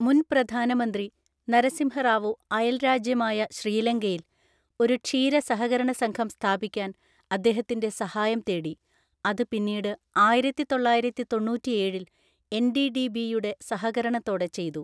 മുൻ പ്രധാനമന്ത്രി നരസിംഹ റാവു അയൽരാജ്യമായ ശ്രീലങ്കയിൽ ഒരു ക്ഷീര സഹകരണസംഘം സ്ഥാപിക്കാൻ അദ്ദേഹത്തിന്റെ സഹായം തേടി, അത് പിന്നീട് ആയിരത്തിതൊള്ളായിരത്തിതൊണ്ണൂറ്റിഏഴില്‍ എൻഡിഡിബിയുടെ സഹകരണത്തോടെ ചെയ്തു.